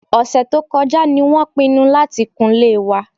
Ọ̀sẹ̀ tó kọjá ni wọ́n pinnu láti kunlé wa